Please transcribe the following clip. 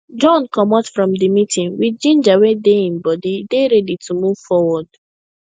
john commot from the meeting with ginger wey dey him body e dey ready to move forward